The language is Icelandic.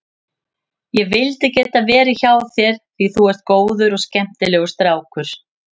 Ég vildi geta verið hjá þér því þú ert góður og skemmtilegur strákur.